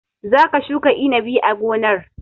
Za ka shuka inabi a gonar!